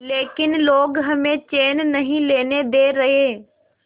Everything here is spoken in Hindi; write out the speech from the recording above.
लेकिन लोग हमें चैन नहीं लेने दे रहे